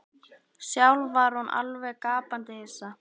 Sjálf var hún alveg gapandi hissa.